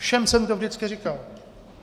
Všem jsem to vždycky říkal.